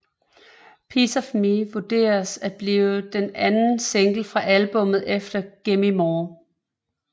Piece Of Me vurderes at blive den anden single fra albummet efter Gimme More